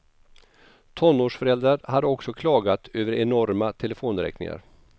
Tonårsföräldrar hade också klagat över enorma telefonräkningar.